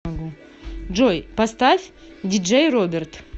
джой поставь диджей роберт